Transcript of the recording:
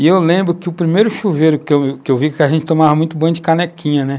E eu lembro que o primeiro chuveiro que eu eu vi, que a gente tomava muito banho de canequinha, né?